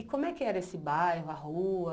E como é que era esse bairro, a rua?